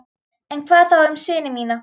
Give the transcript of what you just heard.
En hvað þá um syni mína?